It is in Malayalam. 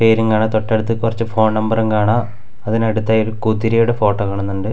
പേരിങ്ങാണ് തൊട്ടടുത്ത് കൊറച്ച് ഫോൺ നമ്പറും കാണാം അതിന് അടുത്തായി ഒരു കുതിരയുടെ ഫോട്ടോ കാണുന്നുണ്ട്.